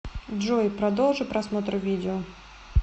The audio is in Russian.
джой продолжи просмотр видео